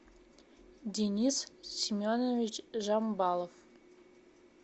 денис семенович жамбалов